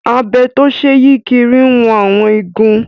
Abẹ tó ṣe é yí kiri ń wọn àwọn igun